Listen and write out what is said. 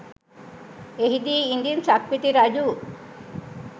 එහිදී ඉදින් සක්විති රජු